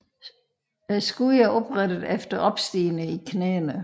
Skuddene er oprette eller opstigende i knæene